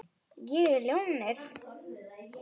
Ég er ljónið.